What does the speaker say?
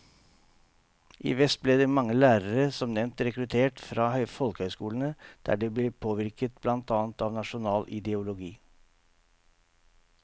I vest ble mange lærere som nevnt rekruttert fra folkehøyskolene, der de ble påvirket blant annet av nasjonal ideologi.